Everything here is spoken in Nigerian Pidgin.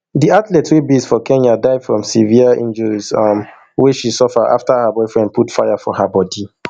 di athlete wey base for kenya die from severe injuries um wey she suffer afta her boyfriend put fire for her body